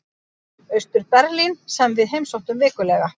Austur-Berlín sem við heimsóttum vikulega.